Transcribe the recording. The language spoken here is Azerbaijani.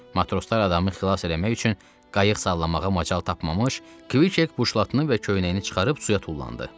Matroslar adamı xilas eləmək üçün qayıq sallamağa macal tapmamış, Kviket buşlatını və köynəyini çıxarıb suya tullandı.